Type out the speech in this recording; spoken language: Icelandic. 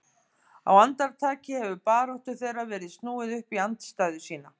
Á andartaki hefur baráttu þeirra verið snúið upp í andstæðu sína.